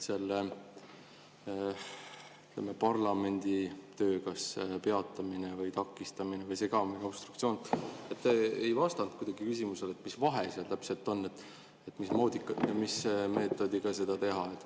Parlamendi tööd kas peatav või takistav või segav obstruktsioon – te ei vastanud küsimusele, mis vahe seal täpselt on, mismoodi ja mis meetodiga seda teha.